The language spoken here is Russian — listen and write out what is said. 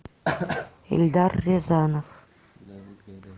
эльдар рязанов